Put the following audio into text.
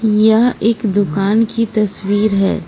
यह एक दुकान की तस्वीर है।